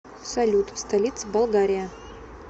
салют столица болгария